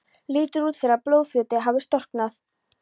Lítur út fyrir að blóðfljótið hafi storknað.